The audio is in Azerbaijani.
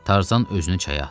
Tarzan özünü çaya atdı.